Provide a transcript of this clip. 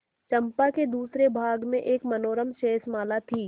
चंपा के दूसरे भाग में एक मनोरम शैलमाला थी